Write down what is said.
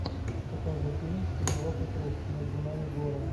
покажи фильм с пенелопой круз между нами горы